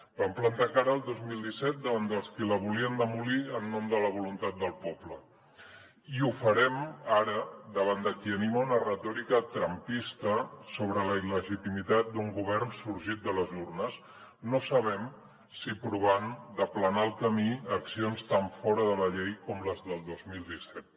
vam plantar cara el dos mil disset davant dels qui la volien demolir en nom de la voluntat del poble i ho farem ara davant de qui anima una retòrica trumpista sobre la il·legitimitat d’un govern sorgit de les urnes no sabem si provant d’aplanar el camí a accions tan fora de la llei com les del dos mil disset